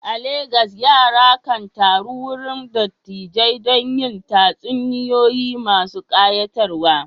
A Legas, yara kan taru wurin dattijai don jin tatsuniyoyi masu kayatarwa.